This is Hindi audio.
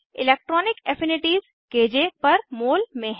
electronic affinities K J per mole में हैं